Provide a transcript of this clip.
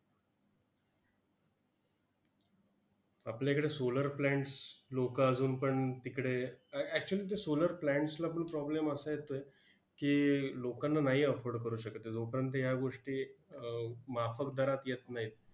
आपल्याकडे solar plants लोकं अजून पण तिकडे अ actually ते solar plants ला पण problem असा येतोय की, लोकांना नाही afford करू शकत. लोकांना या गोष्टी अह माफक दरात येत नाहीत.